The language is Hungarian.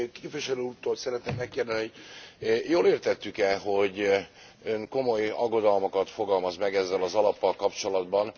Képviselő úrtól szeretném megkérdezni, hogy jól értettük e, hogy Ön komoly aggodalmakat fogalmaz meg ezzel az alappal kapcsolatban.